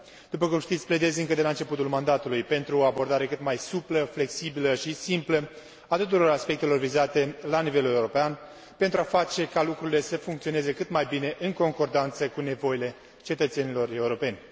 După cum știți, pledez încă de la începutul mandatului pentru o abordare cât mai suplă, flexibilă și simplă a tuturor aspectelor vizate la nivelul european pentru a face ca lucrurile să funcționeze cât mai bine în concordanță cu nevoile cetățenilor europeni.